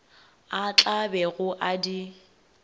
a tla bego a di